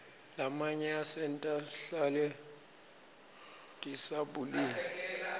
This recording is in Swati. lamanye asenta shcale disabulile